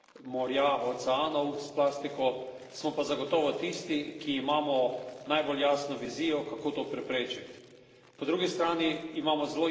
Nismo največji onesnaževalci morja, oceanov s plastiko, smo pa zagotovo tisti, ki imamo najbolj jasno vizijo, kako to preprečiti.